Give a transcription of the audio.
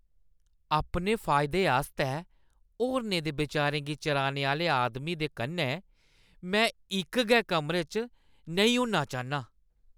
अपने फायदे आस्तै होरनें दे विचारें गी चुराने आह्‌ले आदमी दे कन्नै में इक गै कमरे च नेईं होना चाह्न्नां।